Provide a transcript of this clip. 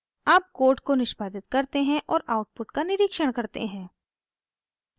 अब कोड को निष्पादित करते हैं और आउटपुट का निरिक्षण करते हैं